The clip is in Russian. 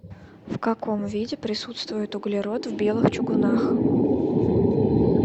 в каком виде присутствует углерод в белых чугунах